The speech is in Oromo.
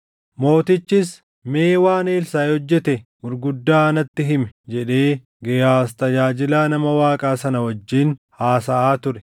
Mootichis, “Mee waan Elsaaʼi hojjete gurguddaa natti himi” jedhee Gehaaz tajaajilaa nama Waaqaa sana wajjin haasaʼaa ture.